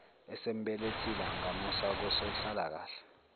esembelethile angamusa kosonhlalakahle